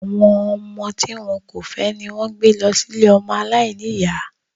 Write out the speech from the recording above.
Àwọn ọmọ tí wọn kò fẹ́ ni wón ń gbé lọ sí ilée ọmọ aláìníyá